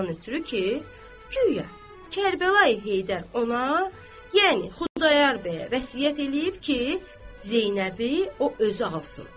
Ondan ötrü ki, guya Kərbəlayi Heydər ona, yəni Xudayar bəyə vəsiyyət eləyib ki, Zeynəbi o özü alsın.